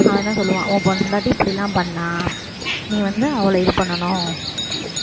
அவன் என்ன சொல்லுவான் உன் பொண்டாட்டி இப்படி எல்லாம் பண்ணா நீ வந்து அவளை இது பண்ணணும்